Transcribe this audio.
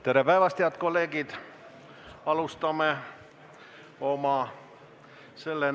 Tere päevast, head kolleegid!